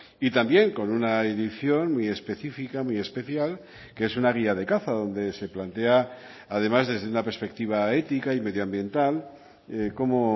y también con una edición muy específica muy especial que es una guía de caza donde se plantea además desde una perspectiva ética y medioambiental cómo